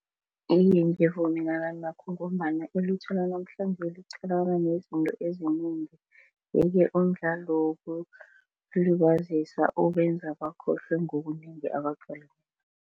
Iye, ngivumelana nakho ngombana ilutjha lanamhlanje liqalana nezinto ezinengi yeke umdlalo wokuzilibazisa ubenza bakhohlwe ngokunengi